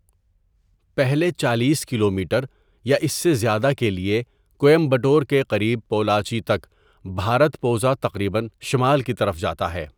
پہلے چالیس کلومیٹر یا اس سے زیادہ کے لیے، کوئمبٹور کے قریب پولاچی تک بھارتپوژا تقریباً شمال کی طرف جاتا ہے.